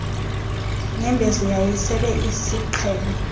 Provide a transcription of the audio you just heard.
nyembezi yayisele isisiqhelo